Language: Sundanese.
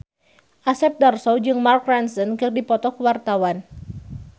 Asep Darso jeung Mark Ronson keur dipoto ku wartawan